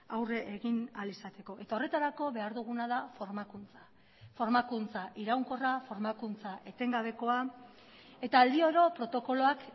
aurre egin ahal izateko eta horretarako behar duguna da formakuntza formakuntza iraunkorra formakuntza etengabekoa eta aldi oro protokoloak